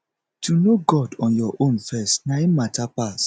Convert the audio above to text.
to know god on your own first na im mata pass